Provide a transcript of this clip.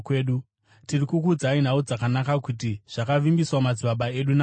“Tiri kukuudzai nhau dzakanaka kuti: Zvakavimbiswa madzibaba edu naMwari,